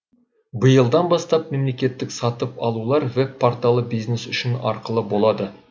биылдан бастап мемлекеттік сатып алулар веб порталы бизнес үшін ақылы болады